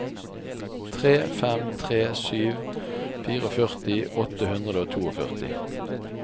tre fem tre sju førtifire åtte hundre og førtito